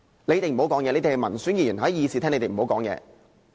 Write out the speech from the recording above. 你們這些民選議員，在議事廳內不要發言。